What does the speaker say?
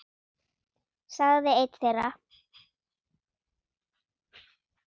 sagði einn þeirra.